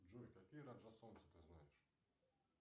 джой какие раджа солнца ты знаешь